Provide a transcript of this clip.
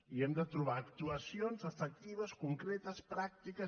i hem de trobar actuacions efectives concretes pràctiques